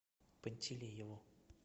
пантелееву